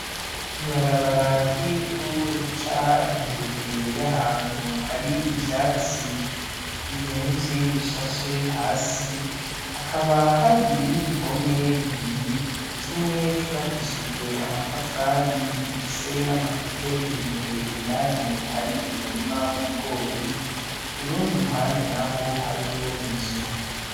Ibarabara ry'ivu rica imbere y'ahantu hariy'ivyatsi biremvye bishashe hasi ,hakaba hari n'ibihome bibiri kimwe c'ubakishijwe amatafari gifise n'amatete imbere indani hari umurima w'ibigori kurundi ruhande naho hariyo inzu.